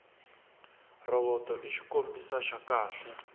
rhovoto i xikombisa xa kahle